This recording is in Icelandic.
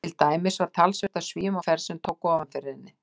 Til dæmis var talsvert af Svíum á ferð sem tóku ofan fyrir henni.